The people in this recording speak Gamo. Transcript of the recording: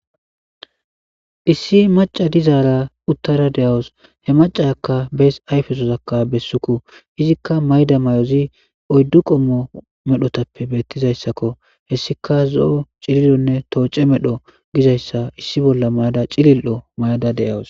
issi maca dizaara uttara de7awos he macaakka bees ayfesozakka bessuku izikka mayda may7ozi oyddu qommo medhotappe beettizayssakko hessika zo7o cilionne tooce medho gizayssa issi bolla mayada cilil7o maada de7awos